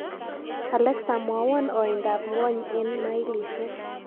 Alexa, mwawon ooindap ng'wony eng' mailisiek